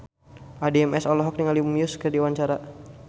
Addie MS olohok ningali Muse keur diwawancara